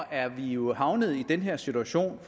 er vi jo havnet i den her situation